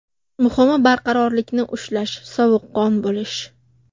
Muhimi barqarorlikni ushlash, sovuqqon bo‘lish.